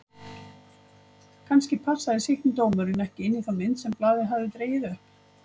Kannski passaði sýknudómurinn ekki inn í þá mynd sem blaðið hafði dregið upp?